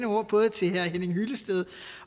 ord både til herre henning hyllested